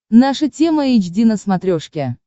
наша тема эйч ди на смотрешке